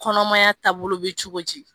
Kɔnɔmaya taabolo be cogo di